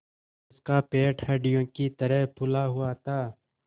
उसका पेट हंडिया की तरह फूला हुआ था